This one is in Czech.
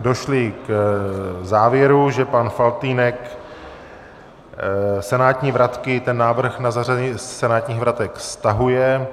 došli k závěru, že pan Faltýnek senátní vratky, ten návrh na zařazení senátních vratek, stahuje.